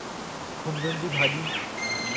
खुंभियुनि जी भाॼी